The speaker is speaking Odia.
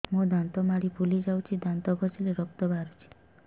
ମୋ ଦାନ୍ତ ମାଢି ଫୁଲି ଯାଉଛି ଦାନ୍ତ ଘଷିଲେ ରକ୍ତ ବାହାରୁଛି